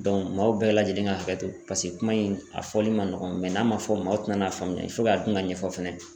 maaw bɛɛ lajɛlen ka hakɛ to paseke kuma in a fɔli man nɔgɔn mɛ n'a ma fɔ maaw tin'a faamuya dun ka ɲɛfɔ fɛnɛ